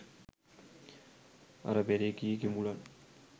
අර පෙර කී කිඹුලන්